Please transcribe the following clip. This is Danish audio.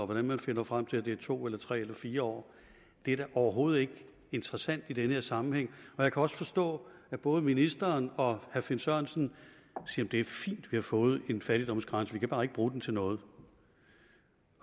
hvordan man finder frem til at det er to eller tre eller fire år er da overhovedet ikke interessant i den her sammenhæng jeg kan også forstå at både ministeren og herre finn sørensen siger det er fint vi har fået en fattigdomsgrænse vi kan bare ikke bruge den til noget